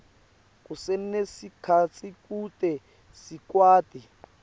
kusenesikhatsi kute sikwati